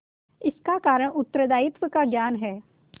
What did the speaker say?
इसका कारण उत्तरदायित्व का ज्ञान है